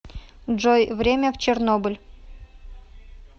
джой время в чернобыль